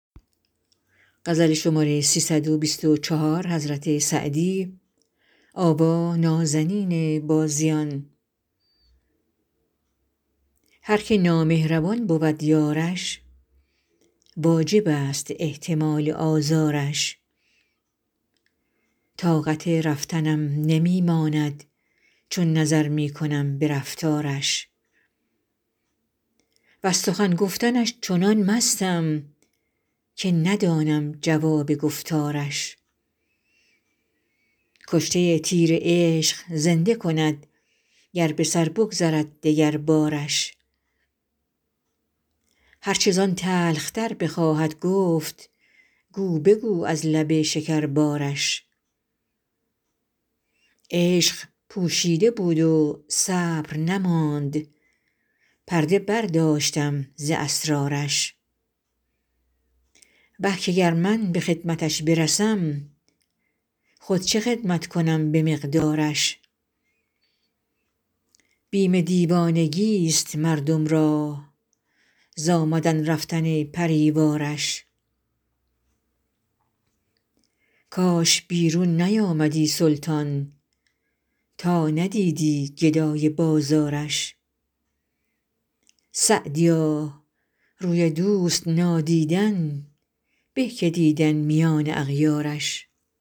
هر که نامهربان بود یارش واجب است احتمال آزارش طاقت رفتنم نمی ماند چون نظر می کنم به رفتارش وز سخن گفتنش چنان مستم که ندانم جواب گفتارش کشته تیر عشق زنده کند گر به سر بگذرد دگربارش هر چه زان تلخ تر بخواهد گفت گو بگو از لب شکربارش عشق پوشیده بود و صبر نماند پرده برداشتم ز اسرارش وه که گر من به خدمتش برسم خود چه خدمت کنم به مقدارش بیم دیوانگیست مردم را ز آمدن رفتن پری وارش کاش بیرون نیامدی سلطان تا ندیدی گدای بازارش سعدیا روی دوست نادیدن به که دیدن میان اغیارش